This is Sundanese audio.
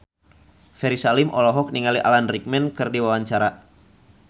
Ferry Salim olohok ningali Alan Rickman keur diwawancara